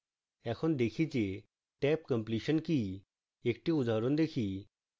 এখন দেখি যে tabcompletion কি